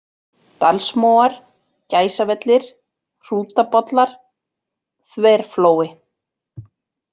Dalsmóar, Gæsavellir, Hrútabollar, Þverflói